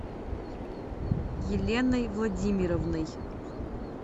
еленой владимировной